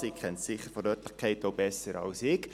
Sie kennt die Örtlichkeiten besser als ich.